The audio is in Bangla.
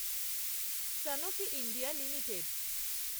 Sanofi India limited